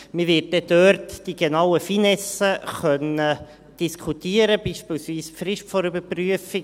Man wird dann dort die genauen Finessen diskutieren können, beispielsweise die Frist der Überprüfung.